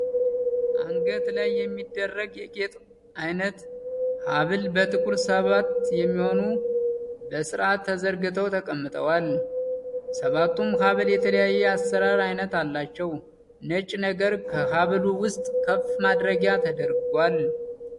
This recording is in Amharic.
አንገት ላይ የሚደረግ የጌጥ አይነት ሀብል በቁጥር ሰባት የሚሆኑ በስርዓት ተዘርግተዉ ተቀምጠዋል። ሰባቱም ሀብል የተለያየ የአሰራር አይነት አላቸዉ። ነጭ ነገር ከሀብሉ ዉስጥ ከፍ ማድረጊያ ተደርጓል።